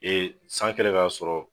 san kɛlen k'a sɔrɔ